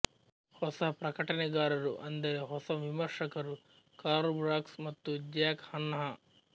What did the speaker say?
ಹೊಸ ಪ್ರಕಟಣೆಗಾರರುಅಂದರೆ ಹೊಸ ವಿಮರ್ಶಕರು ಕಾರ್ಲ್ ಬಾರ್ಕ್ಸ್ ಮತ್ತು ಜ್ಯಾಕ್ ಹನ್ನಃ